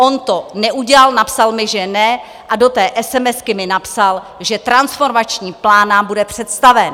On to neudělal, napsal mi, že ne, a do té esemesky mi napsal, že transformační plán nám bude představen.